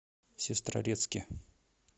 сестрорецке